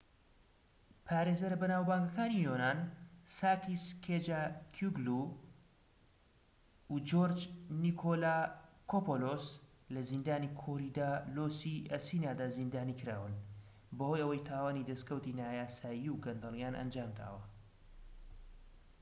پارێزەرە بەناوبانگەکانی یۆنان ساکیس کێچاگیوگلو و جۆرج نیکۆلاکۆپۆلۆس لە زیندانی کۆریدالۆسی ئەسینادا زیندانی کراون بەهۆی ئەوەی تاوانی دەسکەوتی نایاسایی و گەندەڵیان ئەنجامداوە